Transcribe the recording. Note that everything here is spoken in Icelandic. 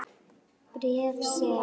Bréf, sem